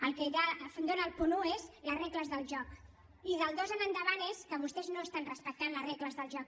el que ja dóna el punt un són les regles del joc i del dos en endavant és que vostès no respecten les regles del joc